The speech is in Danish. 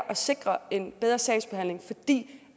at sikre en bedre sagsbehandling fordi